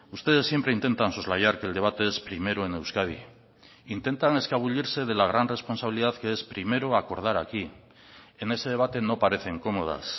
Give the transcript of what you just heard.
ustedes siempre intentan soslayar que el debate es primero en euskadi intentan escabullirse de la gran responsabilidad que es primero acordar aquí en ese debate no parecen cómodas